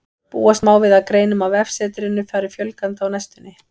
Búast má við að greinum á vefsetrinu fari fjölgandi á næstunni.